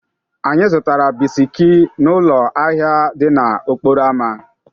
Anyị zụtara bisiki n'ụlọ ahịa dị n'okporo ámá.